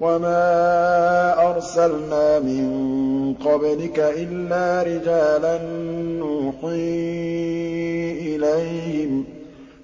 وَمَا أَرْسَلْنَا مِن قَبْلِكَ إِلَّا رِجَالًا نُّوحِي إِلَيْهِمْ ۚ